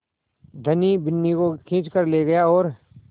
धनी बिन्नी को खींच कर ले गया और